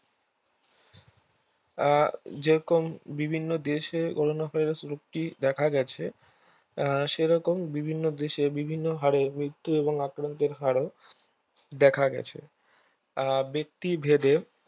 আহ যেরকম বিভিন্ন দেশে Corona Virus রোগটি দেখা গেছে আহ সেরকম বিভিন্ন দেশে মৃত্যুর ও আক্রান্তের হারও দেখা গেছে আর ব্যক্তি ভেদে